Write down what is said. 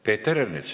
Peeter Ernits.